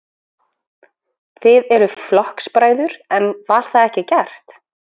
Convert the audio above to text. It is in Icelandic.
Þið eruð flokksbræður, en það var ekki gert?